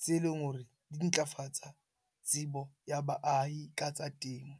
tse leng hore di ntlafatsa tsebo ya baahi ka tsa temo.